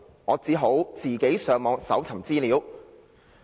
'我只好自己上網搜尋資料。